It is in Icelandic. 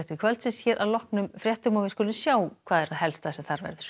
kvöldsins hér að loknum fréttum við skulum sjá það helsta sem þar verður